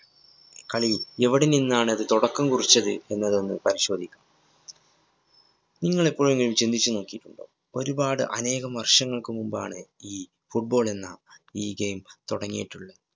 കളി എവിടെ നിന്നാണത് തുടക്കം കുറിച്ചത് എന്നതെന്നത് പരിശോധിക്കാം. നിങ്ങളെപ്പോഴെങ്കിലും ചിന്തിച്ചു നോക്കിയിട്ടുണ്ടോ? ഒരുപാട് അനേകം വര്‍ഷങ്ങള്‍ക്ക് മുന്‍പാണ് ഈ football ളെന്ന ഈ game തുടങ്ങിയിട്ടുള്ളത്.